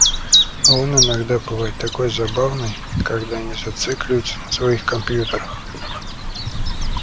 а он иногда бывает такой забавный когда не зацикливается на своих компьютерах